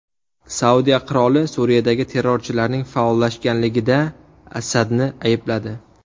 Saudiya qiroli Suriyadagi terrorchilarning faollashganligida Asadni aybladi.